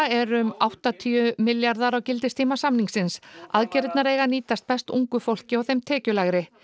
er um áttatíu milljarðar á gildistíma samningsins aðgerðirnar eiga að nýtast best ungu fólki og þeim tekjulægri